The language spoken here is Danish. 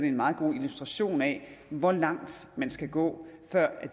en meget god illustration af hvor langt man skal gå før